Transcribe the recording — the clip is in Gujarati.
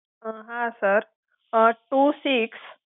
અં હા સર અં ટુ સિક્સ